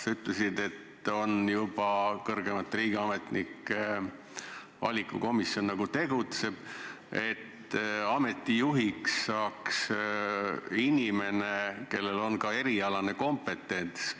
Sa ütlesid, et kõrgemaid riigiametnikke valiv komisjon juba tegutseb, et ameti juhiks saaks inimene, kellel on ka erialane kompetents.